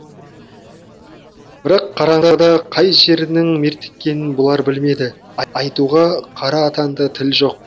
бірақ қараңғыда қай жерінің мертіккенін бұлар білмеді айтуға қара атанда тіл жоқ